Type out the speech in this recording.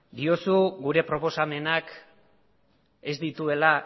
diozu gure proposamenak ez dituela